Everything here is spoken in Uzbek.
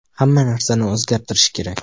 Hamma narsani o‘zgartirish kerak.